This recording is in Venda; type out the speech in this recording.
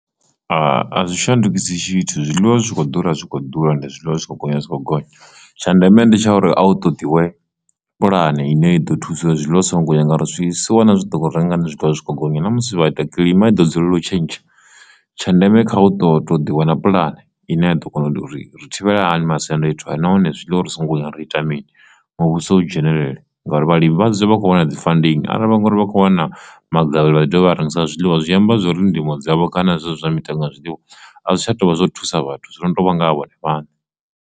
A zwi shandukisa tshithu zwiḽiwa zwitshi kho ḓura zwikho ḓura ndi zwiḽiwa zwi kho gonya zwi khou gonya tsha ndeme ndi tsha uri a u toḓiwe puḽane ine ya ḓo thusa zwiḽiwa songo ya ngauri zwisiwana zwi ḓo renga zwithu zwi kho gonya ṋamusi vha ita kilima i ḓo dzulela u tshentsha, tsha ndeme kha hu to to ḓi wana puḽane ine a ḓo kona uri ri thivhela hani masiandoitwa nahone zwiḽiwa uri so ngo ri ita mini muvhuso u dzhenelele ngauri vhalimi vhazwo vha kho wana dzi funding, arali vha ngori vha khou wana magavhelo vha ḓi dovha a rengisa zwiḽiwa zwi amba zwori ndimo dzavho kana zwezwi mitengo zwiḽiwa a zwi tsha tou vha zwo thusa vhathu zwono to vha ngaha vhone vhane.